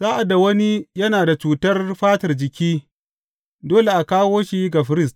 Sa’ad da wani yana da cutar fatar jiki, dole a kawo shi ga firist.